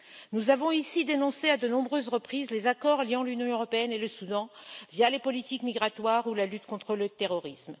Nous avons ici dénoncé à de nombreuses reprises les accords liant l'Union européenne et le Soudan via les politiques migratoires ou la lutte contre le terrorisme.